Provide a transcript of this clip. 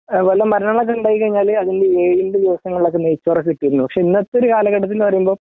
വല്ല മരണങ്ങളൊക്കെ ഉണ്ടായിക്കഴിഞ്ഞാല് അതിൻ്റെ ഏഴിൻ്റെ ദിവസങ്ങളിലൊക്കെ നെയ്‌ച്ചോറൊക്കെ കിട്ടുമായിരുന്നു പക്ഷേ ഇന്നത്തെ ഒരു കാലഘട്ടത്തിൽ നിന്ന് പറയുംബം